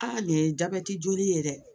Aa nin ye jabɛti joli ye dɛ